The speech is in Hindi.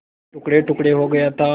टुकड़ेटुकड़े हो गया था